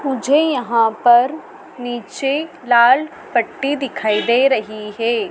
मुझे यहां पर नीचे लाल पट्टी दिखाई दे रही है।